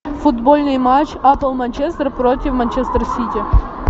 футбольный матч апл манчестер против манчестер сити